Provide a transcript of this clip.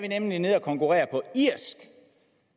nemlig nede at konkurrere på irsk